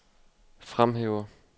fremhæver